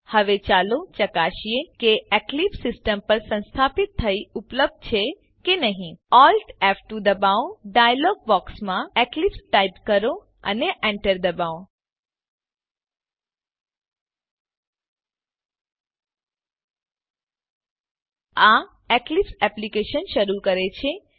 હવે ચાલો ચકાસીએ કે એક્લીપ્સ સીસ્ટમ પર સંસ્થાપીત થઇ ઉપલબ્ધ છે કે નહી Alt ફ2 દબાવો ડાયલોગ બોક્સમાં એક્લિપ્સ ટાઈપ કરો અને એન્ટર દબાવો આ એક્લીપ્સ એપ્લીકેશનને શરૂ કરે છે